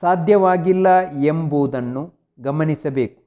ಸಾದ್ಯವಾಗಿಲ್ಲ ವೆಂಬುದನ್ನು ಗಮನಿಸಬೆಕು